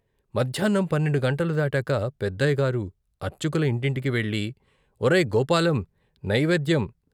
మధ్యాహ్నం పన్నెండు గంటలు దాటాక పెద్దయ్యగారు అర్చకుల ఇంటింటికీ వెళ్ళి ఒరేయ్ గోపాలం నైవేద్యం.